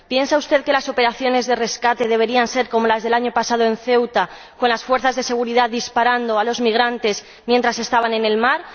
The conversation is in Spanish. ¿Piensa usted que las operaciones de rescate deberían ser como las del año pasado en Ceuta, con las fuerzas de seguridad disparando a los migrantes mientras estaban en el mar?